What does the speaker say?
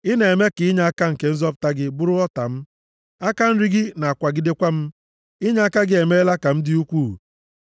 Ị na-eme ka inyeaka nke nzọpụta gị bụrụ ọta m, aka nri gị na-akwagidekwa m, inyeaka gị emeela m ka m dị ukwuu.